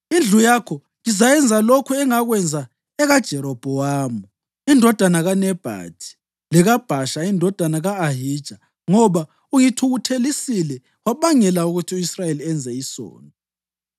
Indlu yakho ngizayenza lokhu engakwenza ekaJerobhowamu indodana kaNebhathi lekaBhasha indodana ka-Ahija, ngoba ungithukuthelisile wabangela ukuthi u-Israyeli enze isono.’